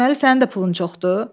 Deməli, sənin də pulun çoxdur?